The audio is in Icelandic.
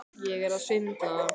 Óttast að konum verði fórnað